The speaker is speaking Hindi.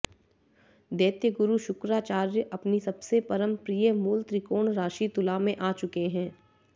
दैत्यगुरु शुक्राचार्य अपनी सबसे परम प्रिय मूलत्रिकोण राशि तुला मॆ आ चुके है